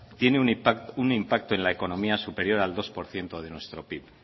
tiene un impacto en la economía superior al dos por ciento de nuestro pib